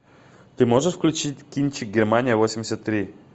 ты можешь включить кинчик германия восемьдесят три